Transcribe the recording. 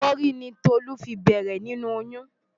Ẹ̀fọ́rí ni Tolú fi bẹ̀rẹ̀ nínú oyún.